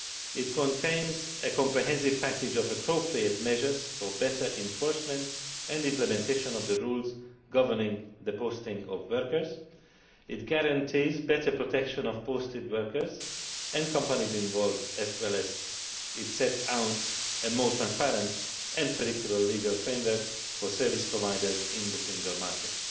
It contains a comprehensive package of appropriate measures for better enforcement and implementation of the rules governing the posting of workers. It guarantees better protection of posted workers and companies involved, as well as setting out a more transparent and predictable legal framework for service providers in the single market.